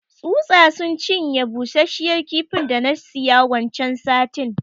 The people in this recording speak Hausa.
Tsutsa sun cinye bushashiyar kifin da na siya waccan satin.